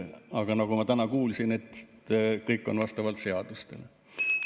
Aga nagu ma täna kuulsin, kõik on vastavalt seadustele.